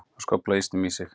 Hann skóflaði ísnum í sig.